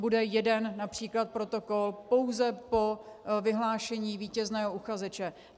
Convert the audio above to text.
Bude jeden například protokol pouze po vyhlášení vítězného uchazeče.